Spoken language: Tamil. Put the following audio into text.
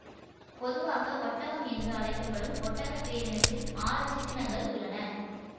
பொதுவாக ஒட்டகம் என்று அழைக்க படும் ஒட்டகப் பேரினத்தில் ஆறு சிற்றினங்கள் உள்ளன